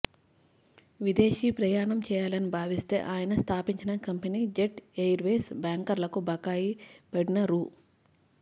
విదేశీ ప్రయాణం చేయాలని భావిస్తే ఆయన స్థాపించిన కంపెనీ జెట్ఎయిర్వేస్ బ్యాంకర్లకు బకాయి పడిన రూ